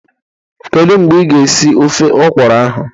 Kedu mgbe ị ga esi ofe ọkwụrụ ahụ?